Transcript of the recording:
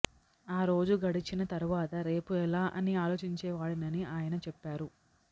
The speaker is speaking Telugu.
ఆ రోజు గడిచిన తర్వాత రేపు ఎలా అని ఆలోచించేవాడినని ఆయన చెప్పారు